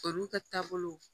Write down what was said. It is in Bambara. Olu ka taabolo